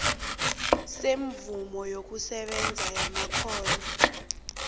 semvumo yokusebenza yamakghono